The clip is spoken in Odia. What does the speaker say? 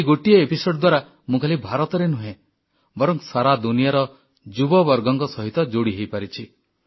ଏହି ଗୋଟିଏ ଅଧ୍ୟାୟ ଦ୍ୱାରା ମୁଁ ଖାଲି ଭାରତର ନୁହେଁ ବରଂ ସାରା ଦୁନିଆର ଯୁବବର୍ଗଙ୍କ ସହିତ ଯୋଡ଼ି ହୋଇପାରିଛି